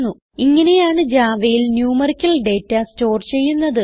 ഇങ്ങനെയാണ് javaയിൽ numerical data store ചെയ്യുന്നത്